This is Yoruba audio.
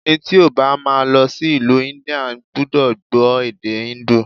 Ẹni tí ó bá má a lọ sí ìlú India gbúdọ̀ gbó èdè híńdù.